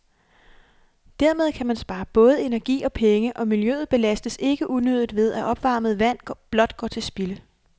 Dermed kan man spare både energi og penge, og miljøet belastes ikke unødigt ved, at opvarmet vand blot går til spilde.